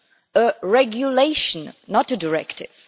A regulation, not a directive.